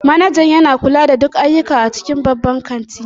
Manajan yana kula da duk ayyuka a cikin babban kanti